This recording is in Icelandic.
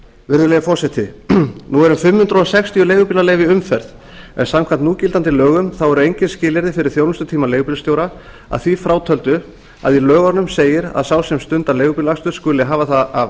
virðulegi forseti nú eru fimm hundruð sextíu leigubílaleyfi í umferð en samkvæmt núgildandi lögum eru engin skilyrði fyrir þjónustutíma leigubílstjóra að því frátöldu að í lögunum segir að sá sem stundar leigubílaakstur skuli hafa það að